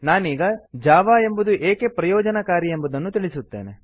ನಾನೀಗ ಜಾವಾ ಎಂಬುದು ಏಕೆ ಪ್ರಯೋಜನಕಾರಿ ಎಂಬುದನ್ನು ತಿಳಿಸುತ್ತೇನೆ